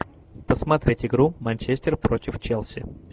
посмотреть игру манчестер против челси